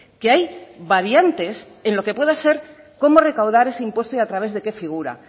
que hay variantes en lo que puede ser cómo recaudar ese impuesto y a través de qué figura